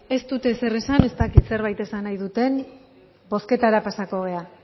ez dut ezer esan ez dakit zerbait esan nahi duten bozketara pasako gara